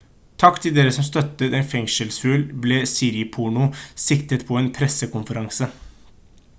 «takk til dere som støttet en fengselsfugl» ble siriporno sitert på en pressekonferanse